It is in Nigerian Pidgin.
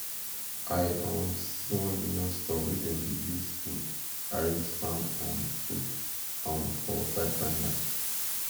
i um see one union store wey dem dey use wood arrange farm um food um for fine fine line